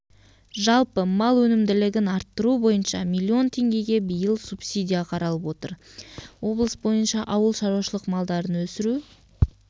жалпы мал өнімділігін арттыру бойынша миллион теңгеге биыл субсидия қаралып отыр облыс бойынша ауыл шаруашылық малдарын өсіру